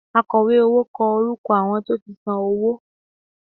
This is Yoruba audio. Àkọ̀wé owó kọ orúkọ àwọn tó ti san owó